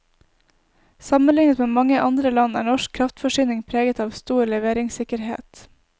Sammenlignet med mange andre land er norsk kraftforsyning preget av stor leveringssikkerhet.